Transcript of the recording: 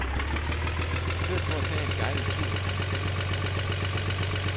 I stedet for at tage en guidet tur, kan man selv gå på opdagelse.